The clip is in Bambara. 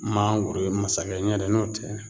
Mangoro ye masakɛ ɲɛ tɛ n'o tɛ